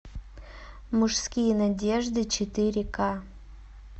мужские надежды четыре ка